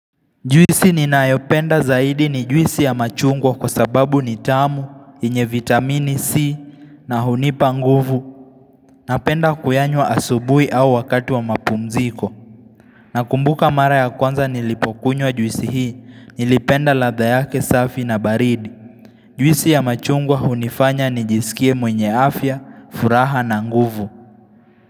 Juisi ninayopenda zaidi ni juisi ya machungwa kwa sababu ni tamu, inye vitamini C na hunipa nguvu. Napenda kuyanywa asubui au wakati wa mapumziko. Nakumbuka mara ya kwanza nilipokunywa juisi hii, nilipenda latha yake safi na baridi. Juisi ya machungwa hunifanya nijisikie mwenye afya, furaha na nguvu.